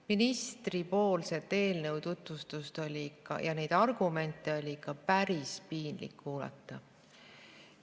Ministripoolset eelnõu tutvustust ja neid argumente oli ikka päris piinlik kuulata.